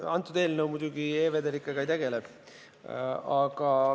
Kõnealune eelnõu muidugi e-vedelikega ei tegele.